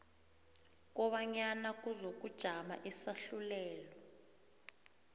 kobanyana kuzokujama isahlulelo